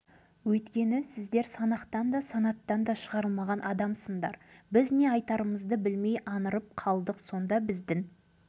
құдай-ау айдың-күннің аманында санақтан да санаттан да шығарылатын адам болушы ма еді деген ойға қалдық